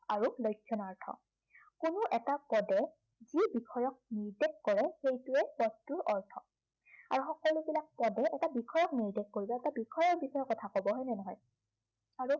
আৰু লক্ষণাৰ্থ কোনো এটা পদে যি বিষয়ক নিৰ্দেশ কৰে, সেইটোৱে পদটোৰ অৰ্থ। আৰু সকলোবিলাক পদে এটা বিষয়ক নিৰ্দেশ কৰিব আৰু এটা বিষয়ৰ বিষয়ে কথা কব হয়নে নহয়? আৰু